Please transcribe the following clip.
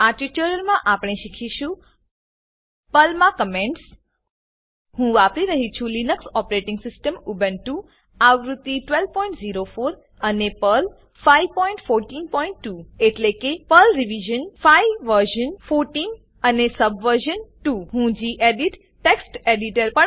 આ ટ્યુટોરીયલમાં આપણે શીખીશું પર્લ મા કમેન્ટસ હું વાપરી રહ્યી છું લીનક્સ ઓપરેટીંગ સીસ્ટમ ઉબુન્ટુ આવૃત્તિ 1204 અને પર્લ 5142 એટલેકે પર્લ રિવિઝન 5 વર્ઝન 14 અને સબવર્ઝન 2 હું ગેડિટ ટેક્સ્ટ એડિટર